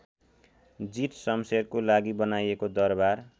जीतशमशेरको लागि बनाइएको दरबार